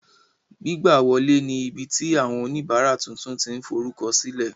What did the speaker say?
Gbigbawọle ní ibiti awọn onibara tuntun ti n forukọsilẹ